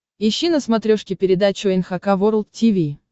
ищи на смотрешке передачу эн эйч кей волд ти ви